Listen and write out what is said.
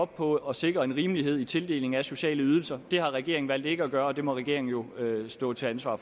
på at sikre en rimelighed i tildelingen af sociale ydelser det har regeringen valgt ikke at gøre og det må regeringen jo stå til ansvar